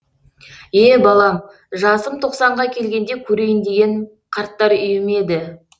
е балам жасым тоқсанға келгенде көрейін деген қарттар үйі ме еді